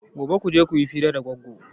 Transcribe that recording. Gobe kuje kuyi hira da Goggo!